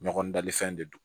Ɲɔgɔn dalifɛn de don